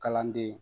Kalanden